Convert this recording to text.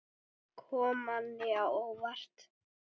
Kom manni á óvart?